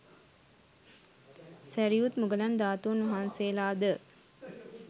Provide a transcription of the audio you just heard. සැරියුත් මුගලන් ධාතූන් වහන්සේලා ද